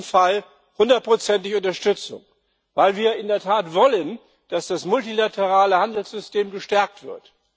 Aber in diesem Fall hundertprozentige Unterstützung, weil wir in der Tat wollen, dass das multilaterale Handelssystem gestärkt wird.